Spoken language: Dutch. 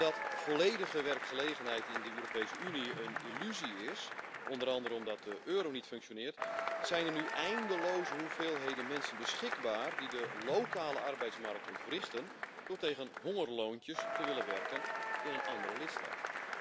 Doordat volledige werkgelegenheid in de Europese Unie een illusie is, onder andere omdat de euro niet functioneert, zijn er nu eindeloze hoeveelheden mensen beschikbaar die de lokale arbeidsmarkt ontwrichten door tegen hongerloontjes te willen werken in een andere lidstaat.